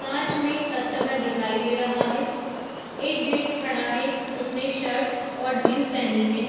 कांच में कस्टमर दिखाई दे रहा है | एक जेन्ट्स खड़ा है | उसने शर्ट और जीन्स पहनी है।